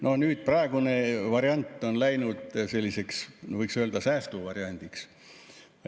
No nüüd praegune variant on läinud selliseks, võiks öelda, säästuvariandiks.